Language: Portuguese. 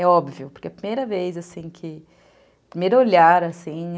É óbvio, porque é a primeira vez, assim, que o primeiro olhar, assim, é